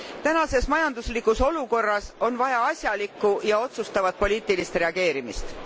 Tänases majanduslikus olukorras on vaja asjalikku ja otsustavat poliitilist reageerimist.